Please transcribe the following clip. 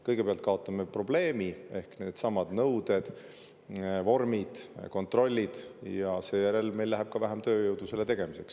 Kõigepealt kaotame probleemi ehk needsamad nõuded, vormid ja kontrollid, ning seejärel läheb meil vaja ka vähem tööjõudu selle töö tegemiseks.